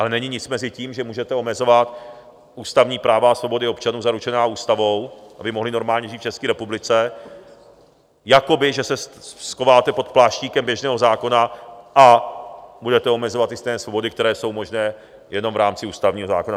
Ale není nic mezi tím, že můžete omezovat ústavní práva a svobody občanů zaručené ústavou, aby mohli normálně žít v České republice, jakoby, že se schováte pod pláštíkem běžného zákona a budete omezovat ty stejné svobody, které jsou možné jenom v rámci ústavního zákona.